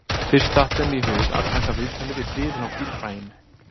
Fyrst datt þeim í hug að taka viðtalið við hliðina á bílhræinu